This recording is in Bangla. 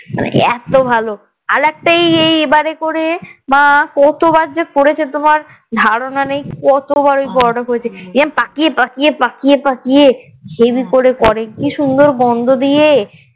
মানে তো ভালো আর একটা এই এই বাড়ে করে মা কতবার যে করেছে তোমার ধারণা নেই কতবার সেই পরোটা করেছে কি কি পিয়ে পাকিয়ে হেবি করে করে কি সুন্দর গন্ধ দিয়ে